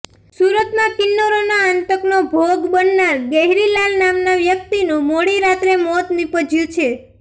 સુરતમાં કિન્નરોના આતંકનો ભોગ બનનાર ગહેરીલાલ નામના વ્યક્તિનું મોડી રાત્રે મોત નિપજ્યું છે